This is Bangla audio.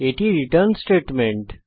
এটি রিটার্ন স্টেটমেন্ট